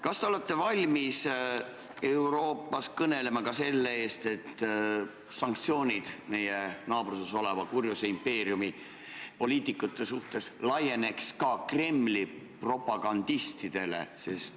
Kas te olete valmis kõnelema Euroopas ka selle eest, et sanktsioonid meie naabruses oleva kurjuse impeeriumi poliitikute vastu laieneksid Kremli propagandistidele?